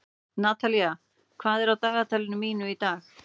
Natalía, hvað er á dagatalinu mínu í dag?